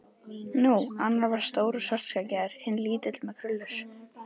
Nú. annar var stór og svartskeggjaður. hinn lítill með krullur.